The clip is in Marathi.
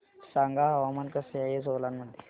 सांगा हवामान कसे आहे सोलान मध्ये